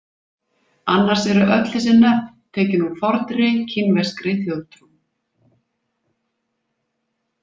Annars eru þessi nöfn öll tekin úr forni kínverskri þjóðtrú.